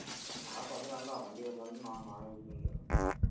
அதெல்லாம் கொஞ்ச நாள் தான் வண்டி வந்தவுடனே நான் நானே கூட்டிட்டு வந்துருவேன்